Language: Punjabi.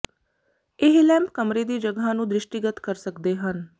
ਇਹ ਲੈਂਪ ਕਮਰੇ ਦੀ ਜਗ੍ਹਾ ਨੂੰ ਦ੍ਰਿਸ਼ਟੀਗਤ ਕਰ ਸਕਦੇ ਹਨ